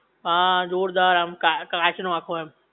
હા જોરદાર આમ કા કાચ નો આખો એમ